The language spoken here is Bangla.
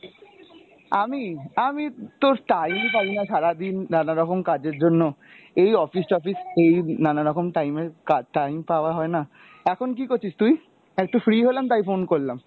আমি? আমি তোর time পাই না সারাদিন নানা রকম কাজের জন্য, এই office টফিস এই নানা রকম time এ কা~ time পাওয়া হয় না। এখন কী করছিস তুই? একটু free হলাম তাই phone করলাম